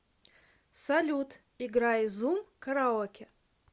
салют играй зум караоке